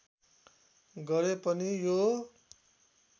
गरे पनि यो